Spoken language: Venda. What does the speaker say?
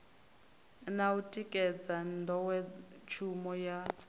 na u tikedza nḓowetshumo ya